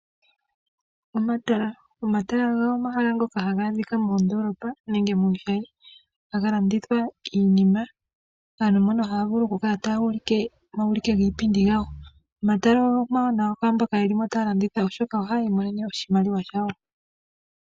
Omatala ogo omahala ngoka ha ga adhika moondoolopa nenge muushayi ha ga landithwa iinima kaantu mbono ha ya vulu okukala taya ulike omauliko giipindi gawo. Omatala omawanawa kwaamboka ye li mo taya landitha oshoka oha ya imonene oshimaliwa shawo.